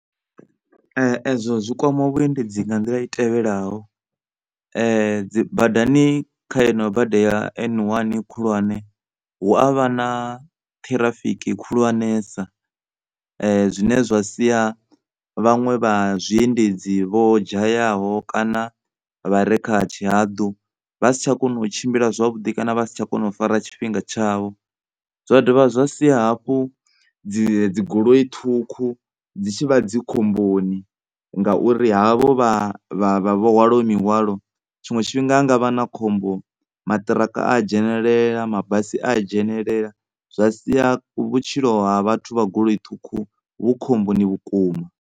Ezwo zwi kwama vhuendedzi nga nḓila i tevhelaho dzibadani kha yeneyi bada ya N1 khulwane hu avha na ṱhirafiki khulwanesa zwine zwa sia vhaṅwe vha zwiendedzi vho dzhayaho kana vhane vha vha kha tshihaḓu vha si tsha kona u tshimbila kana vha si tsha kona u fara tshifhinga tshavho. Zwa dovha dza sia hafhu dzi goloi ṱhukhu dzi tshi vha dzi khomboni, ngauri havho vha, vho hwalaho mihwalo tshiṅwe tshifhinga ndi vhone vhane vha a dzhenelela mabasi a a dzhenelela zwa sia vhutshilo ha vhathu vha goloi ṱhukhu vhu khomboni vhukuma.